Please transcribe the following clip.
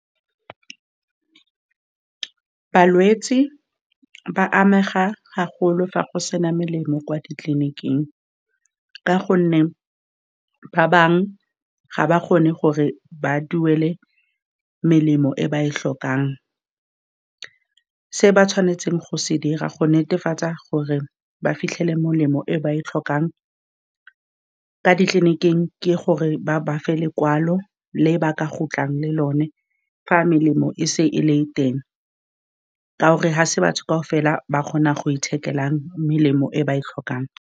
Balwetse ba amega haholo fa go sena melemo kwa ditleliniking, ka gonne ba bangwe ga ba kgone gore ba duele melemo e ba e tlhokang. Se ba tshwanetseng go se dira go netefatsa gore ba fitlhele molemo e ba e tlhokang ka ditleniking, ke gore ba bafe lekwalo le ba ka khutlang le lone fa melemo e se e le teng, ka gore ga se batho kaofela ba kgonang go ithekela melemo e ba e tlhokang.